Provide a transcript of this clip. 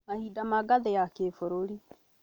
mahinda ma ngathĩ ya kĩbũrũri,